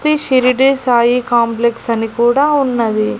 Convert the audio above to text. Shri Shirdi Sai complex అని కూడా ఉన్నది.